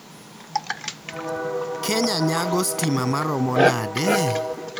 Kenya nyago stima maromo nade?